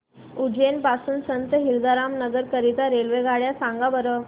उज्जैन पासून संत हिरदाराम नगर करीता रेल्वेगाड्या सांगा बरं